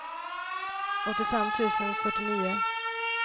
åttiofem tusen fyrtionio